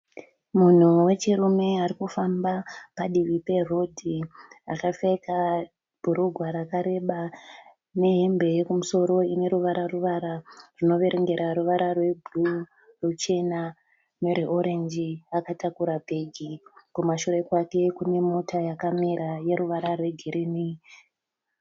Munhu wechirume ari kufamba padivi perodhi. Akapfeka bhurugwa rakareba nehembe yekumusoro ine ruvara ruvara runoverengera ruvara rwebhuru, ruchena nerweorenji. Akatakura bhegi. Kumashure kwake kune mota yakamira yeruvara rwegirinhi.